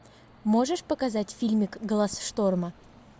можешь показать фильмик глаз шторма